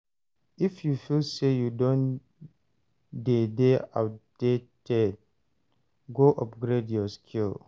If you feel say you don de dey outdated go upgrade your skill